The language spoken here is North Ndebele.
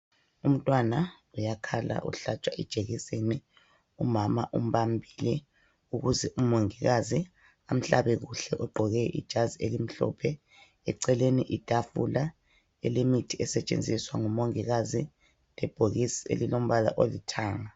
Umntwana uyakhala uhlatshwa ijekiseni, umama umbambile ukuze umongikazi amhlabe kuhle egqoke ijazi elimhlophe eceleni itafula elemithi esetshenziswa ngumongikazi lebhokisi elilombala olithanga.